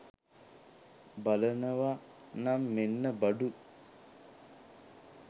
බලනව නම් මෙන්න බඩු.